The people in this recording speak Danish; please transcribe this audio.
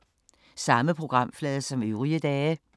Samme programflade som øvrige dage